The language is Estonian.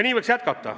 Nii võiks jätkata.